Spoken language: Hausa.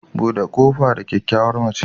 Bude kofa ga kyakkyawar mace